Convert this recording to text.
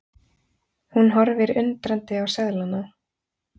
Hún horfir undrandi á seðlana.